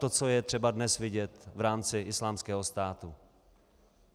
To, co je třeba dnes vidět v rámci Islámského státu.